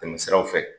Tɛmɛ siraw fɛ